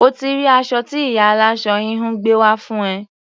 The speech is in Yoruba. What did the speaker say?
O ti rí aṣọ tí ìyá aláṣọ-híhun gbé wá fún ẹ.